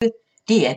DR P1